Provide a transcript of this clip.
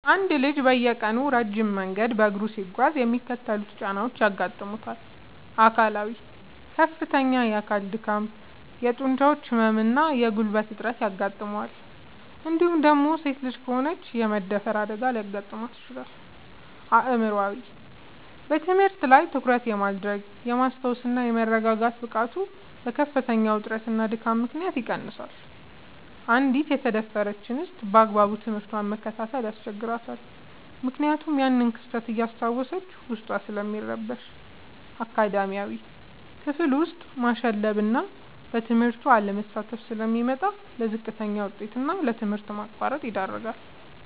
አንድ ልጅ በየቀኑ ረጅም መንገድ በእግሩ ሲጓዝ የሚከተሉት ጫናዎች ያጋጥሙታል፦ አካላዊ፦ ከፍተኛ የአካል ድካም፣ የጡንቻ ህመም እና የጉልበት እጥረት ያጋጥመዋል እንዲሁም ደግሞ ሴት ልጅ ከሆነች የመደፈር አደጋ ሊደርስባት ይችላል። አእምሯዊ፦ በትምህርት ላይ ትኩረት የማድረግ፣ የማስታወስ እና የመረጋጋት ብቃቱ በከፍተኛ ውጥረትና ድካም ምክንያት ይቀንሳል: አንዲት የተደፈረች እንስት ባግባቡ ትምህርቷን መከታተል ያስቸግራታል ምክንያቱም ያንን ክስተት እያስታወሰች ዉስጧ ስለሚረበሽ። አካዳሚያዊ፦ ክፍል ውስጥ ማሸለብና በትምህርቱ አለመሳተፍ ስለሚመጣ: ለዝቅተኛ ውጤት እና ለትምህርት ማቋረጥ ይዳረጋል።